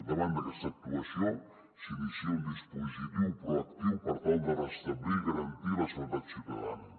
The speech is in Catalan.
davant d’aquesta actuació s’inicia un dispositiu proactiu per tal de restablir i garantir la seguretat ciutadana